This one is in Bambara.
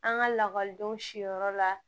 An ka lakɔlidenw siyɔrɔ la